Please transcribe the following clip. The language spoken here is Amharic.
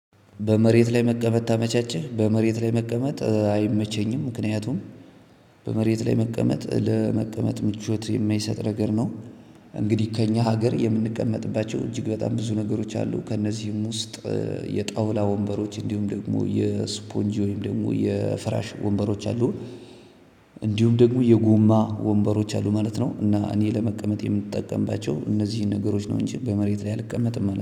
በመሬት ላይ መቀመጥ ታመቻችህ በመሬት ላይ መቀመጥ አይመቸኝም ምክንያቱም በመሬት ላይ መቀመጥ ለመቀመጥ ምቾት የማይሰጥ ነገር ነው እንግዲህ ከእኛ ሀገር የምንቀመጥባቸው እጅግ በጣም ብዙ ነገሮች አሉ ከእነዚህም ውስጥ የጣውላ ወንበሮች እንዲሁም ደግሞ የስፖንጂ ወይም ደግሞ የፍራሽ ወንበሮች አሉ። እንዲሁም ደግሞ የጎማ ወንበሮች አሉ ማለት ነው እና እኔ ለመቀመጥ የምጠቀምባቸው እነዚህን ነገሮች ነው እንጂ በመሬት ላይ አልቀመጥም ማለት ነው።